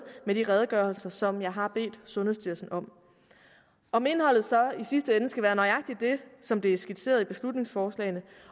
med de redegørelser som jeg har bedt sundhedsstyrelsen om om indholdet så i sidste ende skal være nøjagtig det som det er skitseret i beslutningsforslagene og